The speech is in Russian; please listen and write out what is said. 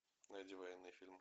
найди военный фильм